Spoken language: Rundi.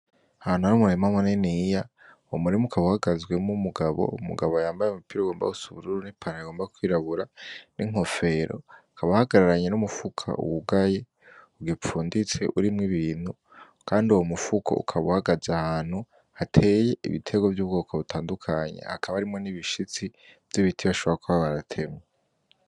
Aha naho hari umurima muniniya, umurima ukaba uhagazemwo umugabo, umugabo yambaye umupira ugomba gusa nubururu nipantaro igomba kwirabura ninkofero, akaba ahagararanye numufuko wugaye, ugifunditse urimwo ibintu, kandi uyo mufuko ukaba uhagaze ahantu hateye ibiterwa vyubwoko butandukanye, hakaba harimwo nibishitsi vyibiti bashobora kuba baratemye.